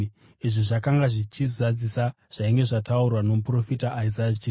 Izvi zvakanga zvichizadzisa zvainge zvataurwa nomuprofita Isaya achiti: